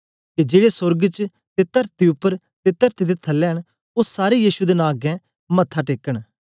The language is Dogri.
के जेड़े सोर्ग च ते तरती उपर ते तरती दे थलै न ओ सारे यीशु दे नां अगें मथे टेकन